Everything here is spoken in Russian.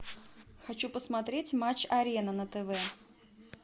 хочу посмотреть матч арена на тв